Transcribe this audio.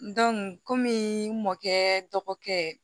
kɔmi n mɔkɛ dɔgɔkɛ